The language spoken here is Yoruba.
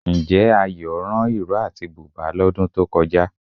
Ǹjẹ́ Ayọ̀ rán ìró àti bùbá lọ́dún tó kọjá?